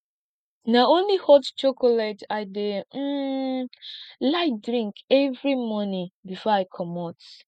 na only hot chocolate i dey um like drink every morning before i comot